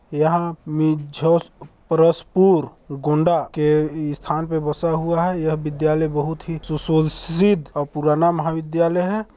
यहाँ मिझोस परसपुर गुंडा के स्थान पर बसा हुआ है यह विधायल बहुत ही सुसज्जित और पुराना महाविधायल है।